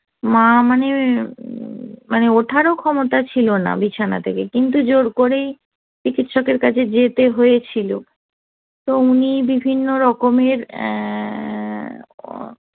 মা আমার মানে ওঠার ক্ষমতা ছিল না বিছানা থেকে কিন্তু জোর করেই চিকিৎসকের কাছে যেতে হয়েছিল তো উনি বিভিন্ন রকমের অ্যা